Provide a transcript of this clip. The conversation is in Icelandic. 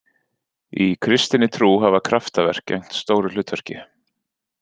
Í kristinni trú hafa kraftaverk gegnt stóru hlutverki.